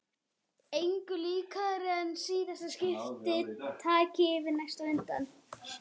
Engu líkara en síðasta skipti taki yfir næsta á undan.